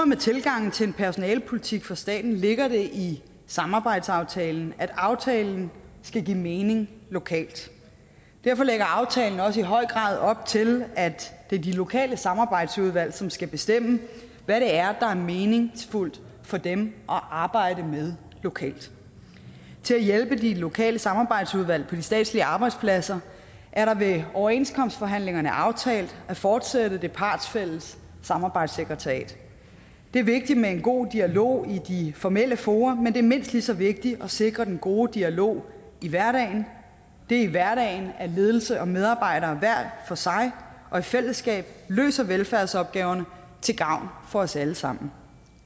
med tilgangen til en personalepolitik for staten ligger det i samarbejdsaftalen at aftalen skal give mening lokalt derfor lægger aftalen også i høj grad op til at det er de lokale samarbejdsudvalg som skal bestemme hvad det er er meningsfuldt for dem at arbejde med lokalt til at hjælpe de lokale samarbejdsudvalg på de statslige arbejdspladser er der ved overenskomstforhandlingerne aftalt at fortsætte det partsfælles samarbejdssekretariat det er vigtigt med en god dialog i de formelle fora men det er mindst lige så vigtigt at sikre den gode dialog i hverdagen det er i hverdagen at ledelse og medarbejdere hver for sig og i fællesskab løser velfærdsopgaverne til gavn for os alle sammen